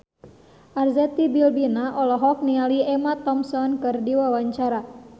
Arzetti Bilbina olohok ningali Emma Thompson keur diwawancara